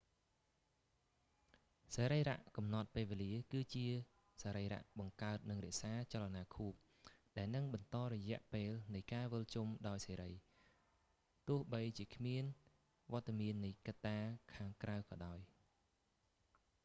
សរីរៈកំណត់ពេលវេលា គឺសរីរៈបង្កើតនិងរក្សាចលនាខួប ដែលនឹងបន្តរយៈពេលនៃការវិលជុំដោយសេរី ទោះបីជាគ្មានវត្ដមាននៃកត្តាខាងក្រៅក៏ដោយ